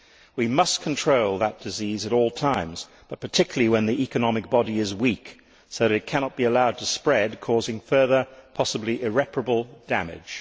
We must control that disease at all times but particularly when the economic body is weak so that it cannot be allowed to spread, causing further, possibly irreparable, damage.